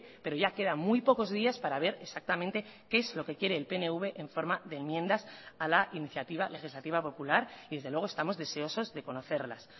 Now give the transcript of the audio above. pero ya queda muy pocos días para ver exactamente qué es lo que quiere el pnv en forma de enmiendas a la iniciativa legislativa popular y desde luego estamos deseosos de conocerlas